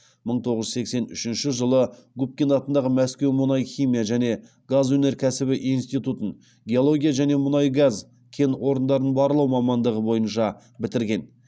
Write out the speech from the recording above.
мың тоғыз жүз сексен үшінші жылы губкин атындағы мәскеу мұнай химия және газ өнеркәсібі институтын геология және мұнай газ кен орындарын барлау мамандығы бойынша бітірген